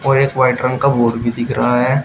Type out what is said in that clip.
और एक वाइट रंग का बोर्ड भी दिख रहा है।